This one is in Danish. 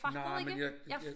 Nej men jeg jeg